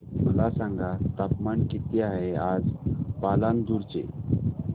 मला सांगा तापमान किती आहे आज पालांदूर चे